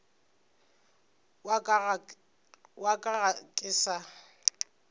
wa ka ga ke sa